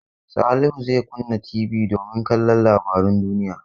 Salihu zai kunna TV domin kallon labarun duniya.